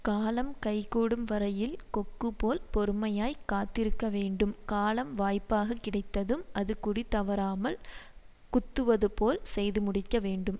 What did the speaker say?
காலம் கைகூடும் வரையில் கொக்குபோல் பொறுமையாகக் காத்திருக்கவேண்டும் காலம் வாய்ப்பாக கிடைத்ததும் அது குறி தவறாமல் குத்துவது போல் செய்து முடிக்க வேண்டும்